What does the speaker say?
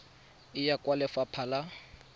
e ya kwa lefapha la